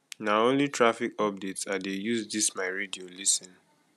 na only traffic updates i dey use dis my radio lis ten